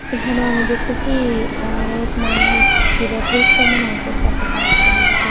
এখানেও আমি দেখতাছি অনেক মানুষ কেডা পরিষ্কার মনে হয় করতাছে তারা সুন্দর কইর--